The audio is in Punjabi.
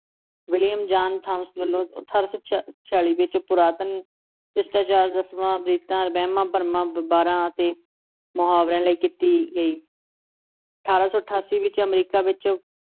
ਵਿਲੀਅਮ ਜਾਨ ਥਾਮਸ ਵਲੋਂ ਅਠਾਰਾਂ ਸੌ ਛ ਛਿਆਲੀ ਵਿੱਚ ਪੁਰਾਤਨ ਸਿਸ਼ਟਾਚਾਰ, ਰਸਮਾਂ, ਰੀਤਾਂ, ਵਹਿਮਾਂ-ਭਰਮਾਂ, ਵਾਰਾਂ ਅਤੇ ਮੁਹਾਵਰਿਆਂ ਲਈ ਕੀਤੀ ਗਈ ਅਠਾਰਾਂ ਸੌ ਅਠਾਸੀ ਵਿੱਚ ਅਮਰੀਕਾ ਵਿੱਚ